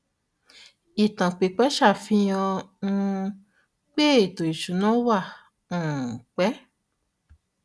ìtàn pípẹ ṣàfihàn um pé ètò ìsúná wà um pẹ